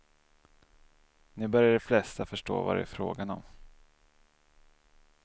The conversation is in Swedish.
Nu börjar de flesta förstå vad det är frågan om.